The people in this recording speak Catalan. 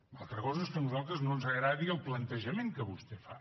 una altra cosa és que a nosaltres no ens agradi el plantejament que vostè fa